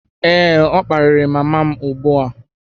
Ee, ọ kparịrị mama m ugbu a